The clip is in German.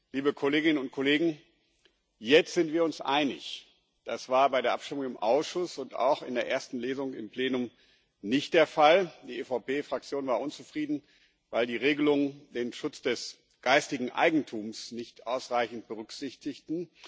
Liebe Kolleginnen und Kollegen, jetzt sind wir uns einig. Das war bei der Abstimmung im Ausschuss und auch in der ersten Lesung im Plenum nicht der Fall. Die EVP Fraktion war unzufrieden, weil die Regelungen den Schutz des geistigen Eigentums nicht ausreichend berücksichtigten.